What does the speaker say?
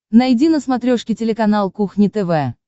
найди на смотрешке телеканал кухня тв